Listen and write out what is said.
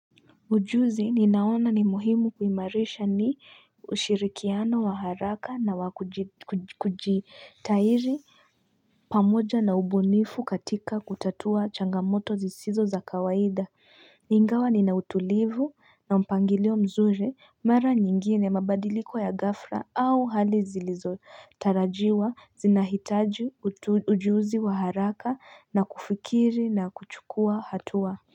Ujuzi ninaona ni muhimu kuimarisha ni ushirikiano wa haraka na wakujitairi pamoja na ubunifu katika kutatua changamoto zisizo za kawaida Ingawa nina utulivu na mpangilio mzuri, mara nyingine mabadiliko ya ghafla au hali zilizotarajiwa zinahitaji ujuzi wa haraka na kufikiri na kuchukua hatua.